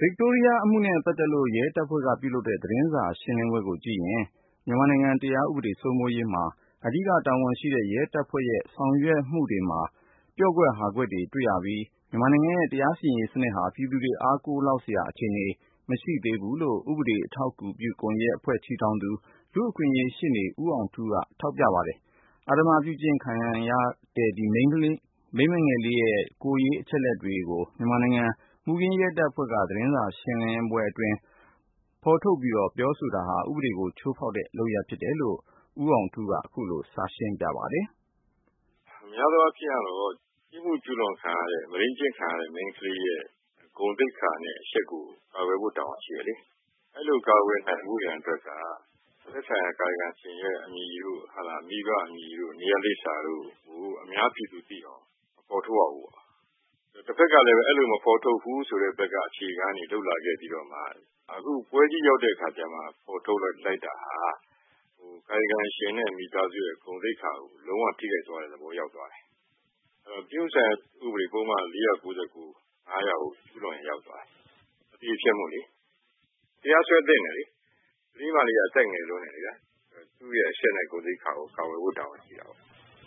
ဗစ်တိုးရီးယားအမှု နဲ့ပတ်သက်လို့ ရဲတပ်ဖွဲ့က ပြုလုပ်တဲ့ သတင်းစာရှင်းလင်းပွဲကိုကြည့်ရင် မြန်မာနိုင်ငံ တရားဥပဒေစိုးမိုးရေးမှာ အဓိက တာဝန်ရှိတဲ့ ရဲတပ်ဖွဲ့ရဲ့ ဆောင်ရွက်မှုတွေမှာ ပျော့ကွက် ဟာကွက်တွေကို တွေ့ရပြီး၊ မြန်မာနိုင်ငံရဲ့ တရားစီရင်ရေးစနစ်ဟာ ပြည်သူတွေ အားကိုးလောက်စရာအခြေနေ မရှိသေးဘူးလို့ ဥပေဒအထောက်အကူပြုရေးကွန်ယက် တည်ထောင်သူ လူ့အခွင့်အရေး ရှေ့နေ ဦးအောင်ထူးက ထောက်ပြပါတယ်။ အဓမ္မပြုကျင့်ခံရတဲ့ မိန်းကလေးငယ်ရဲ့ ကိုယ်ရေးအချက်အလက်တွေကို မြန်မာနိုင်ငံ မှုခင်းရဲ တပ်ဖွဲ့က သတင်းစာရှင်းလင်းပွဲအတွင်း ဖေါ်ထုတ်ပြောဆိုတာဟာ ဥပေဒေကို ချိုးဖောက်တဲ့လုပ်ရပ်ဖြစ်တယ်လို့ ဦးအောင်ထူးက ခုလို စရှင်းပြပါတယ်။ များသောအားဖြင့် ပြစ်မှုကျူးလွန်ခံရတဲ့ မုဒိမ်းကျင့်ခံရတဲ့ မိန်းကလေးရဲ့ ဂုဏ်သိက္ခာနဲ့ အရှက်ကို ကာကွယ်ဖို့ တာဝန်ရှိတယ်လေ။ အဲလိုကာကွယ်နိုင်ဖို့ရန်အတွက်က သက်ဆိုင်ရာ ကာယကံရှင်ရဲ့ အမည်တို့၊ မိဘအမည်တို့ နေရပ်လိပ်စာတို့ကို အများပြည်သူသိအောင် မဖော်ထုတ်ရဘူးပေါ့နော်။ တဘက်ကလည်း အဲလိုမဖော်ထုတ်ဘူး ဆိုတဲ့ဘက်က လုပ်လာခဲ့ပြီးတဲ့နောက်မှ အခုကျမှ ဖော်ထုတ်လိုက်တာက ကာယကံရှင်နဲ့ မိသားစု ဂုဏ်သိက္ခာကို လုံး၀ ထိခိုက်သွားစေပါတယ်။ ပြစ်မှုဆိုင်ရာဥပဒေပုဒ်မ ၄၉၉/၅၀၀ ကို ကျူးလွန်ရာရောက်သွားတယ်။ အသရေဖျက်မှုလေ တရားစွဲသင့်တယ်လေ၊ ဒီကလေးမလေးက အသက်ငယ်လွန်းတယ်ဗျာ သူ့ရဲ့ အရှက်နဲ့ ဂုဏ်သိက္ခာကို ကာကွယ်ဖို့ တာဝန်ရှိတယ်